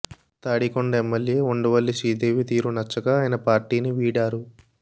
Tadikonda MLA Undavalli Sridevi తీరు నచ్చక ఆయన పార్టీనీ వీడారు